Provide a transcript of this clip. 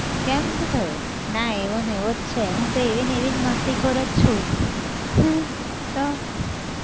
કેમ શું થયું! ના એવો ને એવો જ છે હું તો એવી ને એવી જ મસ્તીખોર જ છું. તો